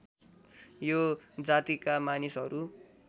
यो जातिका मानिसहरू